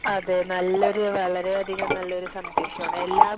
അതെ നല്ലൊരു വളരെ അധികം നല്ലൊരു സന്ദേശം ആണ്. എല്ലാം,